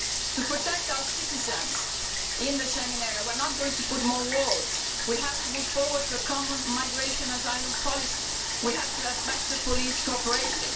To protect our citizens in the Schengen area we are not going to build more walls, we have to move forward to a common migration asylum policy. We have to have better police cooperation.